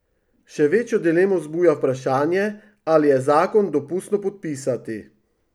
Še večjo dilemo vzbuja vprašanje, ali je zakon dopustno podpisati.